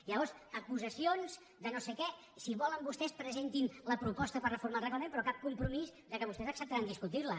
llavors acusacions de no sé què si volen vostès presentin la proposta per reformar el reglament però cap compromís que vostès acceptaran discutir la